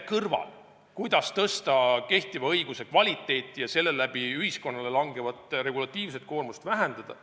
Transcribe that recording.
Aga kuidas tõsta kehtiva õiguse kvaliteeti ja vähendada seeläbi ühiskonnale langevat regulatiivset koormust?